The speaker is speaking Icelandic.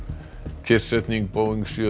kyrrsetning Boeing sjö